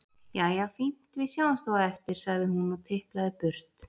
Jæja, fínt, við sjáumst þá á eftir, sagði hún og tiplaði burt.